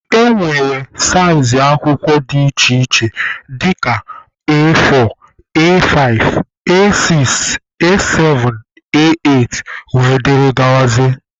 E nwere saịzị akwụkwọ dị iche iche dịka A4, A5,A6,A7,A8 wdg.